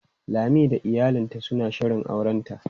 Lami da iyalinta suna shirin aurenta.